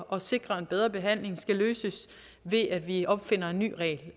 at sikre en bedre behandling skal løses ved at vi opfinder en ny regel